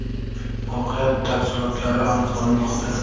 Voqea tafsilotlari aniqlanmoqda.